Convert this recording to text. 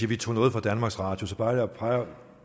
vi tog noget fra danmarks radio